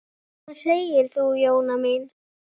Hvað segir þú, Jóna mín?